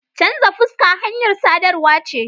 Chanza fuska hanyar sadarwa ce.